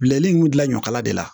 Bilɛri in dilan ɲɔkala de la